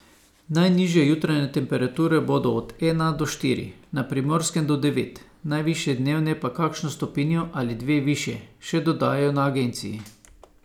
Najnižje jutranje temperature bodo od ena do štiri, na Primorskem do devet, najvišje dnevne pa kakšno stopinjo ali dve višje, še dodajajo na agenciji.